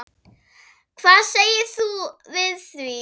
Hvað segir þú við því?